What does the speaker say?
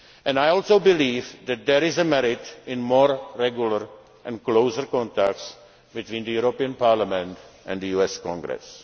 foreign ministers. I also believe that there is a merit in more regular and close contacts between the European Parliament and